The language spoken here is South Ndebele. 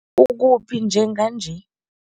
Ukuphi njenganje?